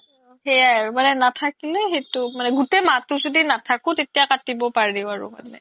সেইয়া আৰু মানে নাথাকিলে সেইতো মানে গুতেই মাহ্তো য্দি নাথাকো তেতিয়া কাতিব পাৰি